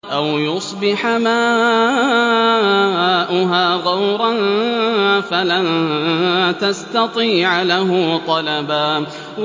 أَوْ يُصْبِحَ مَاؤُهَا غَوْرًا فَلَن تَسْتَطِيعَ لَهُ طَلَبًا